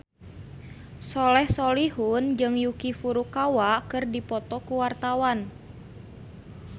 Soleh Solihun jeung Yuki Furukawa keur dipoto ku wartawan